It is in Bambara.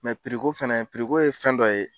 ko fɛnɛ , ko ye fɛn dɔ ye.